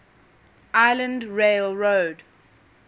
island rail road